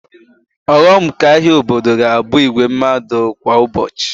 Ọghọm nke ahịa obodo ga-abụ igwe mmadụ kwa ụbọchị